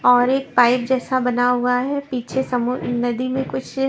और एक पाइप जैसा बना हुआ है पीछे समु नदी में कुछ--